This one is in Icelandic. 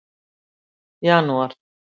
janúar